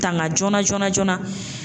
Tanga joona joona joona